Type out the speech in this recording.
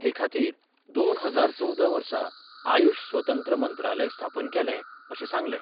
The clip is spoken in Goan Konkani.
हे खातीर दोन हजार चवदा वर्सा आयुष्य स्वतंत्र मंत्रालय स्थापन केलें अशें सांगलें.